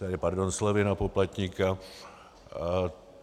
Tedy pardon, slevy na poplatníka.